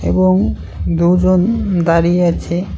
এবং দুজন দাঁড়িয়ে আছে।